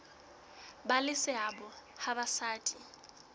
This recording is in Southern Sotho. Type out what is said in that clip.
ba le seabo ha basadi